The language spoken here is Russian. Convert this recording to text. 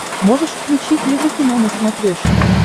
можешь включить еврокино на смотрешке